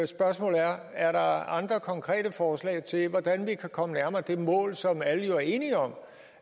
spørgsmål er er der andre konkrete forslag til hvordan vi kan komme nærmere det mål som alle jo er enige om